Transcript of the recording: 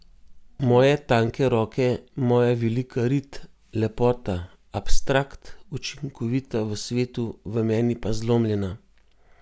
Moje tanke roke, moja velika rit, lepota, abstrakt, učinkovita v svetu, v meni pa zlomljena.